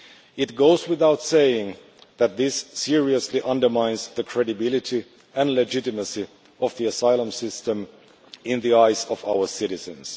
It goes without saying that this seriously undermines the credibility and legitimacy of the asylum system in the eyes of our citizens.